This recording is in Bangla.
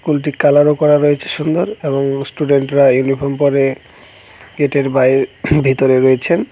স্কুলটি কালারও করা রয়েছে সুন্দর এবং স্টুডেন্টরা ইউনিফর্ম পড়ে গেটের বাইরে উম ভিতরে রয়েছেন।